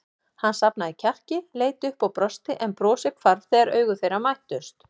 Hann safnaði kjarki, leit upp og brosti en brosið hvarf þegar augu þeirra mættust.